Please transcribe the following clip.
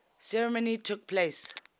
ceremony took place